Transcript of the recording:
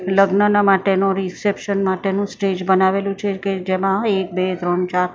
લગ્નના માટેનો રિસેપશન માટેનો સ્ટેજ બનાવેલો છે કે જેમાં એક બે ત્રણ ચાર--